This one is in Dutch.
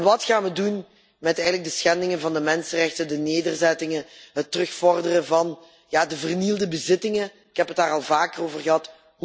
zei? Wat gaan we doen met de schendingen van de mensenrechten, de nederzettingen, het terugvorderen van de vernielde bezittingen? Ik heb het daar al vaker over gehad.